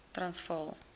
transvaal